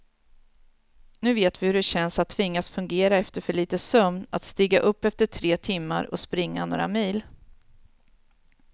Nu vet vi hur det känns att tvingas fungera efter för lite sömn, att stiga upp efter tre timmar och springa några mil.